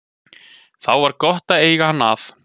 Þá var gott að eiga hann að.